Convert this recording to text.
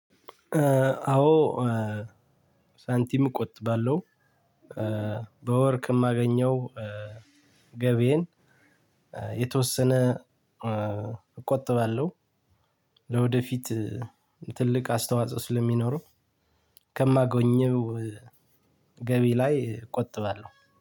አዎ። ሳንቲም እቆጥባለሁ። በወር ከማገኘው ገብዬ የተወሰነ እቆጥባለሁ። ለወደፊት ትልቅ አስተዋጽኦ ስለሚኖረው። ከማገኘው ገቢ ላይ እቆጥባለሁ